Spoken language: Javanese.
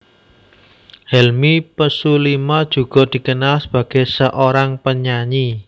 Helmi Pesulima juga dikenal sebagai seorang penyanyi